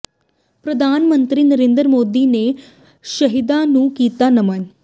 ਪ੍ਰਧਾਨ ਮੰਤਰੀ ਨਰਿੰਦਰ ਮੋਦੀ ਨੇ ਸ਼ਹੀਦਾਂ ਨੂੰ ਕੀਤਾ ਨਮਨ